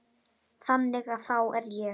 Þannig að þá er ég.